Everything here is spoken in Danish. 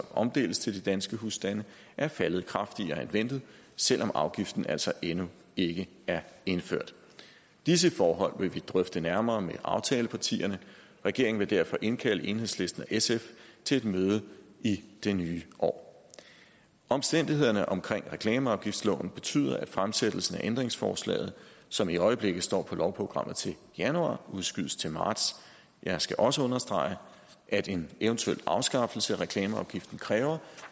omdeles til de danske husstande er faldet kraftigere end ventet selv om afgiften altså endnu ikke er indført disse forhold vil vi drøfte nærmere med aftalepartierne regeringen vil derfor indkalde enhedslisten og sf til et møde i det nye år omstændighederne omkring reklameafgiftsloven betyder at fremsættelsen af ændringsforslaget som i øjeblikket står på lovprogrammet til januar udskydes til marts jeg skal også understrege at en eventuel afskaffelse af reklameafgiften kræver